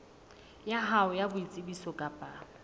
ya hao ya boitsebiso kapa